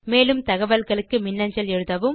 மேலும் தகவல்களுக்கு மின்னஞ்சல் எழுதவும்